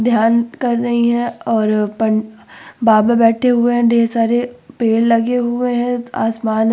ध्यान कर रही हैं और पं बाबा बैठे हुए हैं। ढेर सारे पेड़ लगे हुए हैं। आसमान --